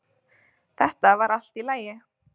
Þetta var allt í lagi